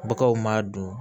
Baganw m'a dun